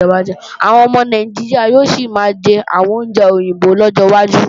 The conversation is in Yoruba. Àwọn ọmọ Nàìjíríà yóò sì máa jẹ àwọn oúnjẹ òyìnbó lọ́jọ́ wájú